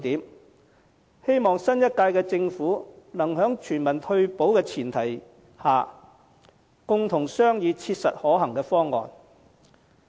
我希望新一屆政府能在全民退保的大前提下，共同商議切實可行的方案。